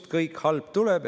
Kust kõik halb tuleb?